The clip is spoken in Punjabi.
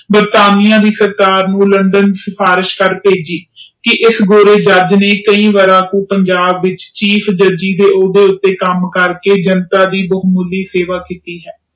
ਬ੍ਰਿਤਾਨੀਆ ਦੇ ਸਰਕਾਰ ਲੰਡਨ ਵਿਚ ਸਾਫ਼ਰਿਸ਼ ਕਰਕੇ ਕਿ ਭੇਜੀ ਕਿ ਇਸ ਗੋਰੇ ਜੱਜ ਨੇ ਕਈ ਵਰਾਂ ਪੰਜਾਬ ਵਿਚ ਕਾਮ ਕਰਕੇ ਜਨਤਾ ਦੇ ਬਹੁਮੁੱਲੀ ਸੇਵਾ ਕੀਤੀ ਹੈ।